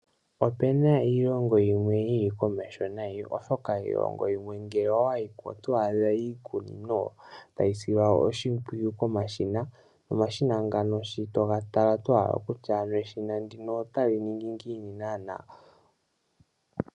Opena iilongo yimwe yili komeho nayi oshoka iilongo yimwe ngele owayiko oto adha iikunino tayi silwa oshimpwiyu komashina nomashina ngano shi toga tala, oto hala okutya ano eshina ndino otali ningi naana?